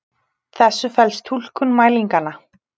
þessu felst túlkun mælinganna.